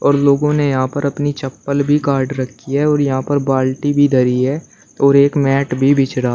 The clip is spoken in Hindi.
और लोगों ने यहां पर अपनी चप्पल भी काट रखी है और यहां पर बाल्टी भी धरी है और एक मैट भी बिछ रहा--